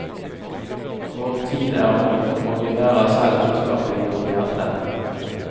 Vår tid er ond, og vi bærer selv ondskapen i vårt hjerte.